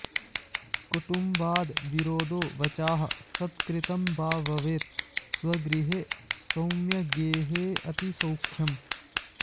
कुटुम्वाद् विरोधो वचाह् सत्कृतं वा भवेत् स्वेगृहे सौम्यगेहेऽतिसौख्यम्